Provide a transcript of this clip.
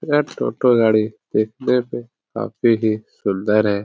यह टोटो गाड़ी देखने पे काफी ही सुंदर है।